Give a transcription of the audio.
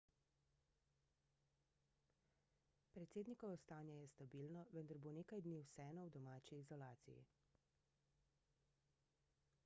predsednikovo stanje je stabilno vendar bo nekaj dni vseeno v domači izolaciji